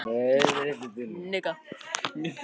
Brosir til hennar hálfur úti á stéttinni.